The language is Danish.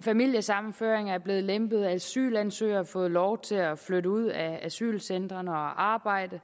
familiesammenføring er blevet lempet asylansøgere har fået lov til at flytte ud af asylcentrene og arbejde